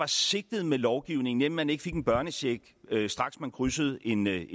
sigtet med lovgivningen nemlig at man ikke fik en børnecheck straks man krydsede en